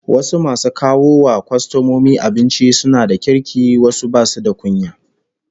Wasu masu kawo wa kwastomomi abinci suna da kirki wasu basu da kunya